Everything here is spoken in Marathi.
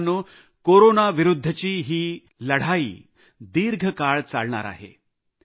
मित्रांनो कोरोना विरुद्धच्या लढाईचा हा मार्ग खूप मोठा आहे